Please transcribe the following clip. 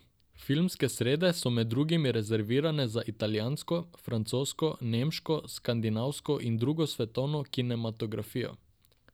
Filmske srede so med drugim rezervirane za italijansko, francosko, nemško, skandinavsko in drugo svetovno kinematografijo.